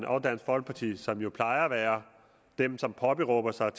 og dansk folkeparti som jo plejer at være dem som påberåber sig